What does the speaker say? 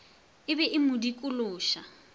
e be e mo dikološa